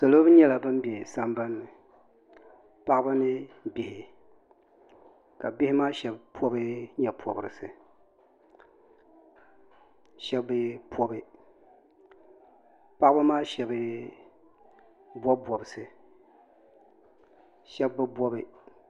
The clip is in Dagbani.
salo nyɛla bin bɛ sambanni paɣaba ni bihi ka bihi maa shab pobi nyɛ pobirisi shab bi pobi paɣaba maa shab bob bobsi shab bi bobi